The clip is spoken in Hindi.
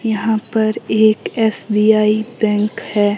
यहां पर एक एस_बी_आई बैंक है।